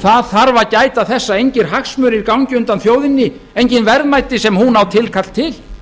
það þarf að gæta þess að engir hagsmunir gangi undan þjóðinni engin verðmæti sem hún á tilkall til